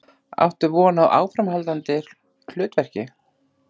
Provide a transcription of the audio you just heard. Áttu von á áframhaldandi hlutverki?